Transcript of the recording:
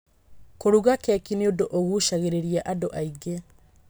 Kũruga keki nĩ ũndũ ũgucaagĩrĩria andũ aingĩ.